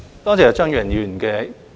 多謝張宇人議員的意見。